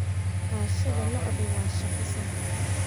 Dhaqashada lo'du waa shaqo sahlan